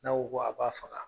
N'a ko ko a k'a faga